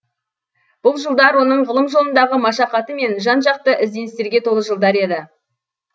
бұл жылдар оның ғылым жолындағы машақаты мен жан жақты ізденістерге толы жылдар еді